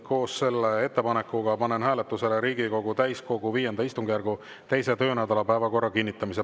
Koos selle ettepanekuga panen hääletusele Riigikogu täiskogu V istungjärgu 2. töönädala päevakorra kinnitamise.